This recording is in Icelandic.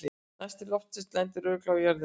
Næsti loftsteinn lendir örugglega á jörðinni í dag!